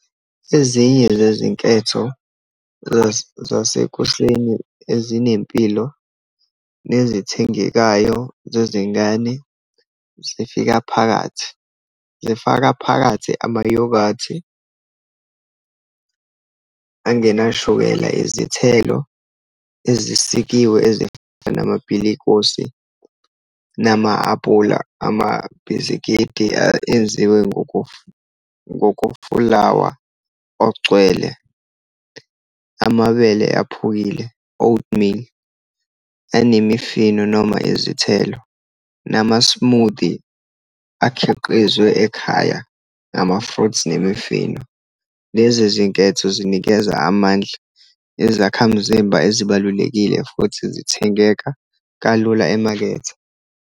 Ezinye zezinketho zasekuseni ezinempilo, nezithengekayo zezingane, zifika phakathi, zifaka phakathi ama-yoghurt-i angena shukela, izithelo ezisikiwe, ezifana namapilikosi, nama apula, amabhisikidi enziwe ngokofulawa ogcwele, amabele aphukile, oatmeal, anemifino, noma izithelo, nama-smoothie akhiqizwe ekhaya, ngama-fruits, nemifino. Lezi zinketho zinikeza amandla ezakhamzimba ezibalulekile, futhi zithengeka kalula emakethe.